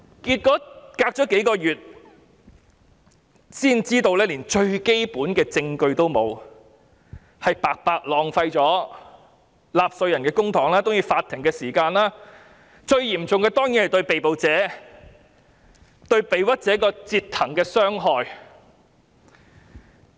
結果，事隔數月，才知道連最基本的證據也沒有，白白浪費了納稅人的公帑和法庭的時間，最嚴重的當然是對被捕者或被冤枉者的折騰、傷害。